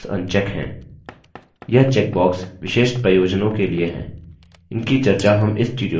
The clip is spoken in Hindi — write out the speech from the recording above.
यह चेकबॉक्स विशेष प्रयोजनों के लिए हैं इनकी चर्चा हम इस tutorial में नहीं करेंगे